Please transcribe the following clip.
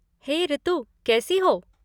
हे ऋतु, कैसी हो?